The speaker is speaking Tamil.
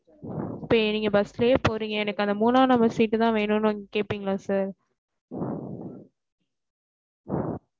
இப்ப நீங்க bus லையே போறீங்க எனக்கு அந்த மூனா number seat தா வேணும்னு வந்து கேட்பிங்களா sir